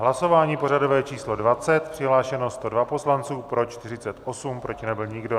Hlasování pořadové číslo 20, přihlášeno 102 poslanců, pro 48, proti nebyl nikdo.